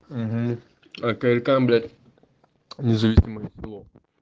независимая село